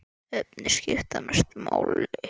Efnin skipta mestu máli.